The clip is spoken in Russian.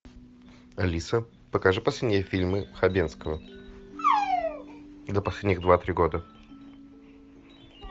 алиса покажи последние фильмы хабенского за последних два три года